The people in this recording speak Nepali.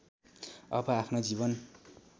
अब आफ्नो जीवन